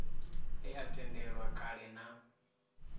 e a tendelwa kale na